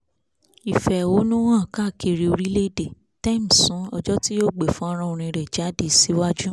ìfẹ̀hónú hàn káàkiri orílẹ̀ èdè tems sún ọjọ́ tí yóò gbé fọ́nrán orin rẹ̀ jáde síwájú